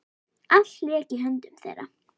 Allt lék í höndum þeirra.